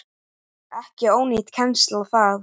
Ekki ónýt kennsla það.